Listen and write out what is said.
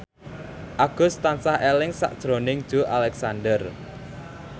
Agus tansah eling sakjroning Joey Alexander